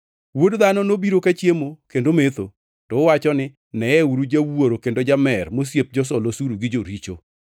Wuod Dhano nobiro ka chiemo kendo metho, to uwacho ni, ‘Neyeuru jawuoro kendo jamer mosiep josol osuru gi joricho.’